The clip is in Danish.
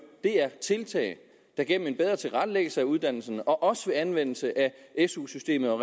er nogle tiltag der gennem en bedre tilrettelæggelse af uddannelserne og også anvendelse af su systemet og